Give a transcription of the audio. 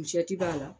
b'a la